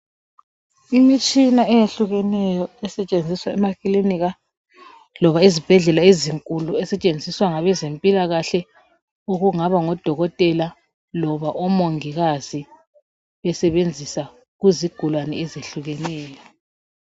Imitshina eyehlukeneyo esetshenziswa emakilinika loba ezibhedlela ezinkulu, esetshenziswa ngabezempilakhahle okungaba ngodokotela loba omongikazi besebenzisa kuzigulane ezehlukeneyo.